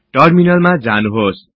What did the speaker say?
टर्मिनलमा जानुहोस्